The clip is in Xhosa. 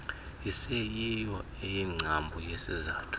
iseyiyo eyingcambu yesizathu